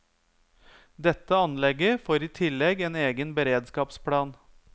Dette anlegget får i tillegg en egen beredskapsplan.